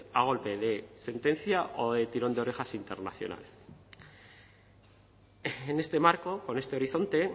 a golpe de sentencia o de tirón de orejas internacional en este marco con este horizonte